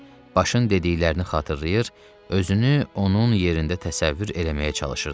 Başın dediklərini xatırlayır, özünü onun yerində təsəvvür eləməyə çalışırdı.